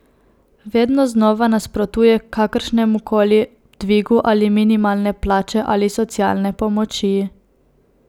Vedno znova nasprotuje kakršnemu koli dvigu ali minimalne plače ali socialne pomoči.